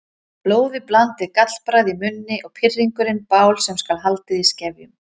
Blóðiblandið gallbragð í munni og pirringurinn bál sem skal haldið í skefjum.